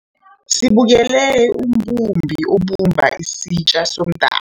Besibukele umbumbi abumba isitja somdaka.